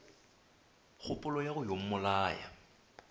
kgopolo ya go yo mmolaya